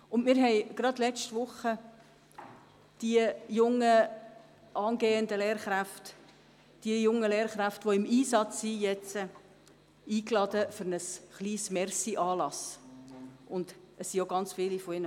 Wir haben gerade letzte Woche die jungen Lehrkräfte, die jetzt im Einsatz sind, zu einem kleinen Dankesanlass eingeladen.